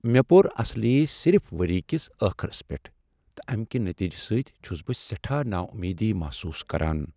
مےٚ پوٚر اصلی صرف وریہ کس ٲخرس پیٹھ تہٕ امہ کہ نتیجہ سۭتۍ چھس بہ سیٹھاہ ناامیدی محسوس کران۔